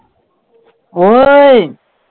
ਓਏ।